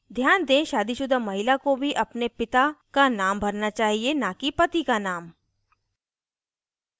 ध्यान दें शादीशुदा महिला को भी अपने पिता का name भरना चाहिए न कि पति का name